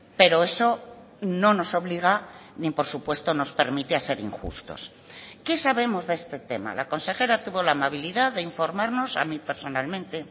pero eso no nos obliga ni por supuesto nos permite a ser injustos qué sabemos de este tema la consejera tuvo la amabilidad de informarnos a mí personalmente